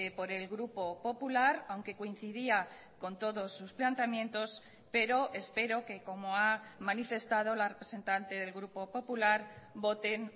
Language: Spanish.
por el grupo popular aunque coincidía con todos sus planteamientos pero espero que como ha manifestado la representante del grupo popular voten